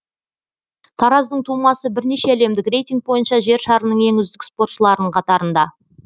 тараздың тумасы бірнеше әлемдік рейтинг бойынша жер шарының ең үздік спортшыларының қатарында